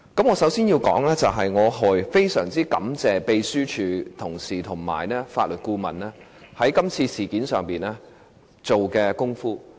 我首先要說，我非常感謝秘書處同事和法律顧問在這次事件上所做的工夫。